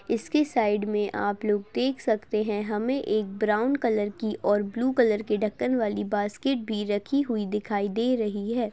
इसकी साईड में आप लोग देख सकते है हमे एक ब्राउन कलर की और ब्लू कलर की ढक्कन वाली बास्केट भी रखी हुई दिखाई दे रही है।